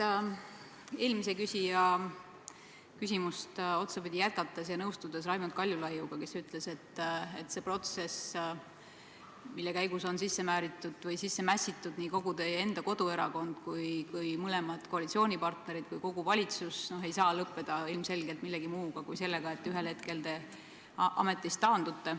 Jätkan otsapidi eelmise küsija küsimust ja olen nõus Raimond Kaljulaiuga, kes ütles, et see protsess, millesse on mässitud nii kogu teie koduerakond, mõlemad koalitsioonipartnerid kui ka kogu valitsus, ei saa lõppeda ilmselgelt millegi muu kui sellega, et te ühel hetkel ametist taandute.